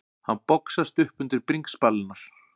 Hann boxast upp undir bringspalirnar.